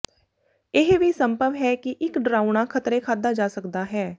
ਇਹ ਵੀ ਸੰਭਵ ਹੈ ਕਿ ਇੱਕ ਡਰਾਉਣਾ ਖਤਰੇ ਖਾਧਾ ਜਾ ਸਕਦਾ ਹੈ